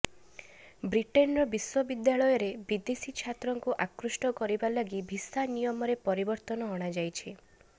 ବ୍ରିଟେନର ବିଶ୍ୱବିଦ୍ୟାଳୟରେ ବିଦେଶୀ ଛାତ୍ରଙ୍କୁ ଆକୃଷ୍ଟ କରିବା ଲାଗି ଭିସା ନିୟମରେ ପରିବର୍ତ୍ତନ ଅଣାଯାଇଛି